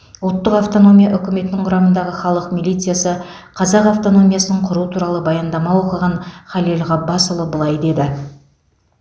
ұлттық автономия үкіметінің құрамындағы халық милициясы қазақ автономиясын құру туралы баяндама оқыған халел ғаббасұлы былай деді